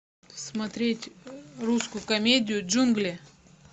смотреть русскую комедию джунгли